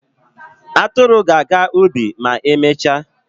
Atụrụ ga-aga ubi ma emechaa.